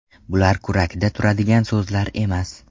Bular kurakda turadigan so‘zlar emas.